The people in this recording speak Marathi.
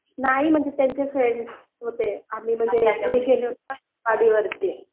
नाही म्हणजे त्यांचे फ्रेंड्स होते आम्ही म्हणजे गाडीवरती